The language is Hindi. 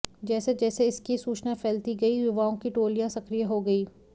जैसे जैसे इसकी सूचना फैलती गई युवाओं की टोलियां सक्रिय हो गई